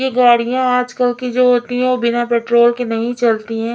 ये गाड़याँ आजकल की जो होती हैं वो बिना पेट्रोल के नहीं चलती हैं।